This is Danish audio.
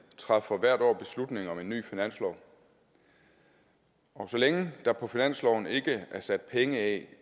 træffer hvert år beslutning om en ny finanslov så længe der på finansloven ikke er sat penge af